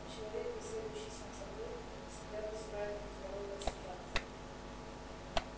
но человек беседующий сам с собой всегда вызывает нездоровые ассоциации